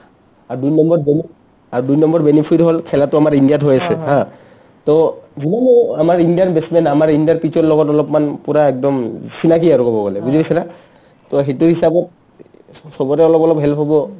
আৰু দুইনম্বৰ বেনি আৰু দুইনম্বৰ benefit হ'ল খেলাটো আমাৰ ইণ্ডিয়াত হৈ আছে haa to যিমান আমাৰ ইণ্ডিয়ান batch man আমাৰ ইণ্ডিয়াৰ pitchৰ লগত অলপমান পূৰা একদম চিনাকি আৰু ক'ব গ'লে বুজি পাইছানা to সিটো হিচাপত চ ~ চবৰে অলপ অলপ help হ'ব |